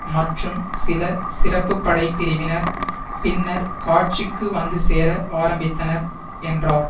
மற்றும் சில சிறப்பு படை பிரிவினர் பின்னர் காட்சிக்கு வந்துசேர ஆரம்பித்தனர் என்றார்